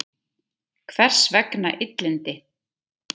Hvers vegna illindi?